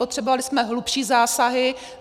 Potřebovali jsme hlubší zásahy.